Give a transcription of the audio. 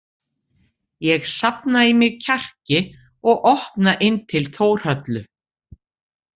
Ég safna í mig kjarki og opna inn til Þórhöllu.